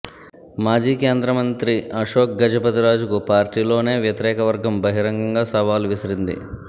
మాజీ కేంద్ర మంత్రి ఆశోక్ గజపతి రాజుకు పార్టీలోనే వ్యతిరేకవర్గం బహిరంగంగా సవాల్ విసిరింది